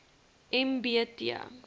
m b t